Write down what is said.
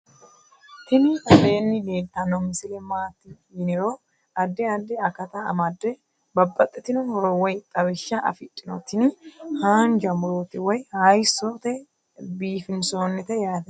Tini aleenni letanno misile maati yiniro addi addi akata amadde babaxitino horo woy xawishsha afidhino tini haanja muroti woy haysote biifinsoonite yaate